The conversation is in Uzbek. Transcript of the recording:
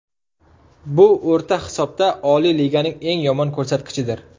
Bu o‘rta hisobda Oliy Liganing eng yomon ko‘rsatkichidir.